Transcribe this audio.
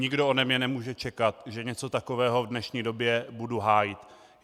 Nikdo ode mne nemůže čekat, že něco takového v dnešní době budu hájit.